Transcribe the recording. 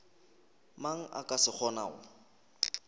mang a ka se kgonago